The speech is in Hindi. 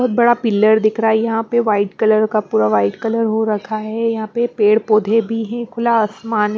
बहुत बड़ा पिलर दिख रहा है यहाँ पे वाइट कलर का पूरा वाइट कलर हो रखा है यहाँ पे पेड़ पौधे भी है खुला आसमान --